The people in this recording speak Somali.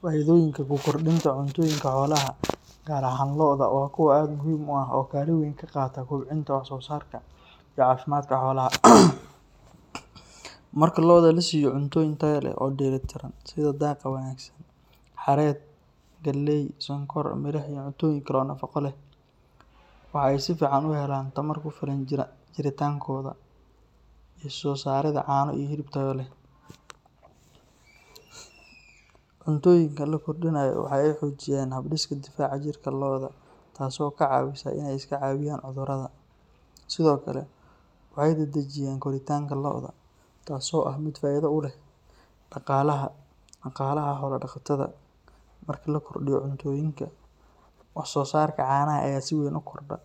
Faa’iidooyinka ku kordhinta cuntooyinka xoolaha, gaar ahaan lo’da, waa kuwo aad u muhiim ah oo kaalin weyn ka qaata kobcinta wax-soosaarka iyo caafimaadka xoolaha. Marka lo’da la siiyo cuntooyin tayo leh oo dheellitiran sida daaqa wanaagsan, xareed, galley, sonkor, milix iyo cuntooyin kale oo nafaqo leh, waxa ay si fiican u helaan tamar ku filan jiritaankooda iyo soo saaridda caano iyo hilib tayo leh. Cuntooyinka la kordhiyo waxa ay xoojiyaan habdhiska difaaca jirka lo’da, taasoo ka caawisa inay iska caabiyaan cudurrada. Sidoo kale, waxay dedejiyaan koritaanka lo’da, taasoo ah mid faa’iido u leh dhaqaalaha dhaqaalaha xoolo-dhaqatada. Marka la kordhiyo cuntooyinka, wax-soosaarka caanaha ayaa si weyn u kordha,